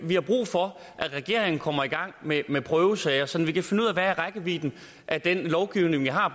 vi har brug for at regeringen kommer i gang med med prøvesager så vi kan finde ud af hvad rækkevidden af den lovgivning vi har